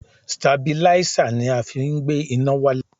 Stabilísà ni a fi má ń gbé iná wálẹ̀.